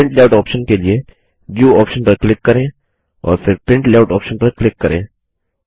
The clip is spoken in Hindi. प्रिंट लेआउट ऑप्शन के लिए व्यू ऑप्शन पर क्लिक करें और फिर प्रिंट लेआउट ऑप्शन पर क्लिक करें